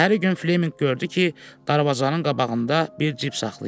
Səhəri gün Fleminq gördü ki, darvazanın qabağında bir cip saxlayıb.